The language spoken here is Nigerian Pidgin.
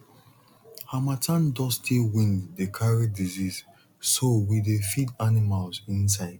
harmattan dusty wind dey carry disease so we dey feed animals inside